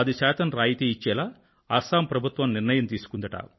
10 శాతం రాయితీ ఇచ్చేలా అస్సాం ప్రభుత్వం నిర్ణయం తీసుకుందట